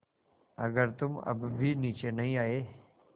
अगर तुम अब भी नीचे नहीं आये